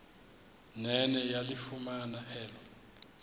nene yalifumana elo